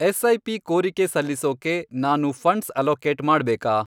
SIP. ಕೋರಿಕೆ ಸಲ್ಲಿಸೋಕೆ ನಾನು ಫಂಡ್ಸ್ ಅಲೋಕೇಟ್ ಮಾಡ್ಬೇಕಾ?